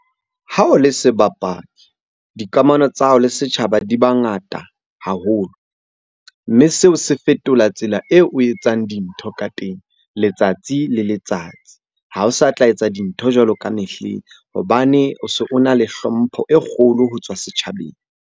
Ha o le sebapadi, dikamano tsa hao le setjhaba di ba ngata haholo. Mme seo se fetola tsela eo o etsang dintho ka teng letsatsi le letsatsi. Ha o sa tla etsa dintho jwalo ka mehleng hobane o na le hlompho e kgolo ho tswa setjhabeng.